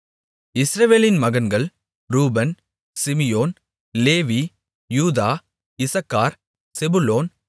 இஸ்ரவேலின் மகன்கள் ரூபன் சிமியோன் லேவி யூதா இசக்கார் செபுலோன்